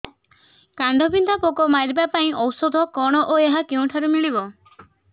କାଣ୍ଡବିନ୍ଧା ପୋକ ମାରିବା ପାଇଁ ଔଷଧ କଣ ଓ ଏହା କେଉଁଠାରୁ ମିଳିବ